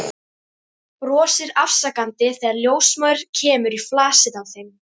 Brosir afsakandi þegar ljósmóðir kemur í flasið á þeim.